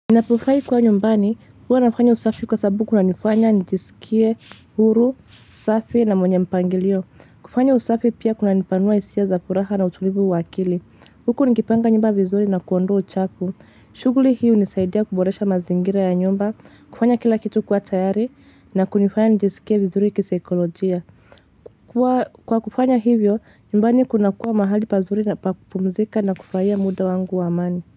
Ninapofahi kuwa nyumbani, huwa nafanya usafi kwa sababu kuna nifanya, nijisikie, huru, safi na mwenye mpangilio. Kufanya usafi pia kuna nipanua isia za furaha na utulivu waakili. Huku nikipanga nyumba vizuri nakuondoa uchafu. Shuguli hii u nisaidia kuboresha mazingira ya nyumba, kufanya kila kitu kuwa tayari, na kunifanya nijisikie vizuri kisaekolojia. Kwa kufanya hivyo, nyumbani kuna kuwa mahali pazuri na kupumzika na kufuraia muda wangu waamani.